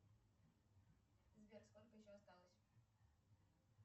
сбер сколько еще осталось